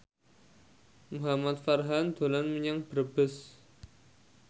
Muhamad Farhan dolan menyang Brebes